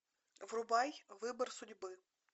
врубай выбор судьбы